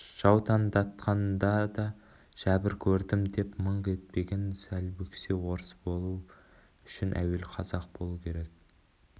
жаутаңдатқанда да жәбір көрдім деп мыңқ етпеген салбөксе орыс болу үшін әуелі қазақ болу керек